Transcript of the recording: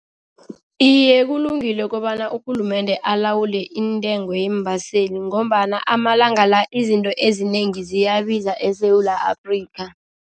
Iye, kulungile kobana urhulumende alawule intengo yeembaseli ngombana amalanga la izinto ezinengi ziyabiza eSewula Afrika.